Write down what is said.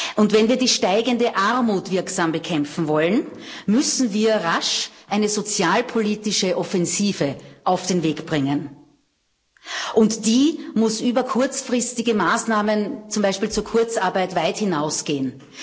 Und wenn wir die steigende Armut wirksam bekämpfen wollen, müssen wir rasch eine sozialpolitische Offensive auf den Weg bringen, und die muss über kurzfristige Maßnahmen zum Beispiel zur Kurzarbeit weit hinausgehen.